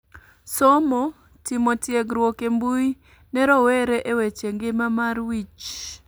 Somo, timo tiegruok e mbui ne rowere e weche ngima mar wich